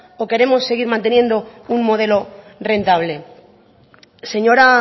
o queremos seguir manteniendo un modelo rentable señora